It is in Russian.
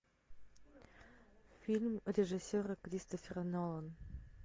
фильм режиссера кристофера нолана